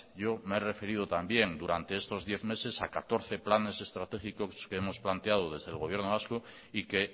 yo me he referido también durante estos diez meses a catorce planes estratégicos que hemos planteado desde el gobierno vasco y que